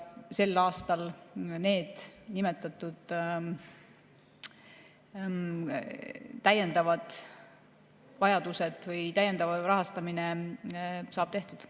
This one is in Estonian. Sel aastal see täiendav rahastamine saab tehtud.